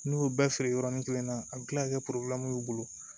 N'u y'u bɛɛ feere yɔrɔin kelen na a bɛ kila ka kɛ y'u bolo